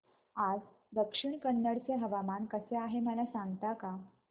आज दक्षिण कन्नड चे हवामान कसे आहे मला सांगता का